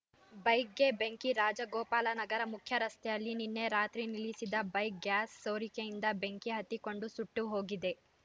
ಬೈಕ್‌ಗೆ ಬೆಂಕಿ ರಾಜಗೋಪಾಲನಗರ ಮುಖ್ಯರಸ್ತೆಯಲ್ಲಿ ನಿನ್ನೆರಾತ್ರಿ ನಿಲ್ಲಿಸಿದ್ದ ಬೈಕ್ ಗ್ಯಾಸ್ ಸೋರಿಕೆಯಿಂದ ಬೆಂಕಿ ಹತ್ತಿಕೊಂಡು ಸುಟ್ಟುಹೋಗಿದೆ